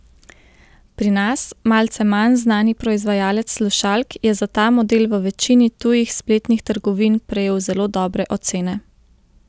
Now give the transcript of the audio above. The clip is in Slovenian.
Pri nas malce manj znani proizvajalec slušalk je za ta model v večini tujih spletnih trgovin prejel zelo dobre ocene.